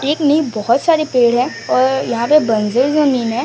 एक नींब बहोत सारे पेड़ है और यहां पे बंजर जमीन है।